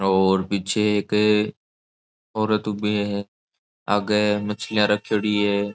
और पीछे एक औरत ऊबे है आगे मछलियां रखेड़ी है।